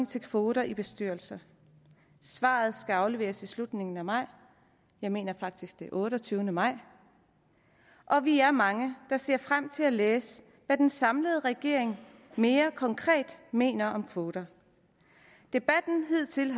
til kvoter i bestyrelser svaret skal afleveres i slutningen af maj jeg mener faktisk det er den otteogtyvende maj og vi er mange der ser frem til at læse hvad den samlede regering mere konkret mener om kvoter debatten har hidtil